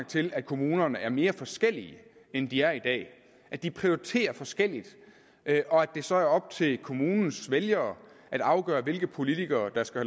til at kommunerne er mere forskellige end de er i dag at de prioriterer forskelligt og at det så er op til kommunens vælgere at afgøre hvilke politikere der skal